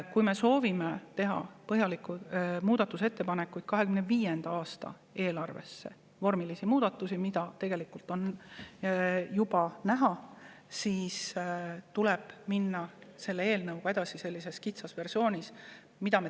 Kui me soovime teha 2025. aasta eelarves põhjalikke muudatusi – vormilisi muudatusi, mida tegelikult on juba ette näha –, siis tuleb minna selle eelnõuga edasi sellises kitsas versioonis.